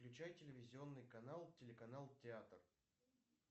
включай телевизионный канал телеканал театр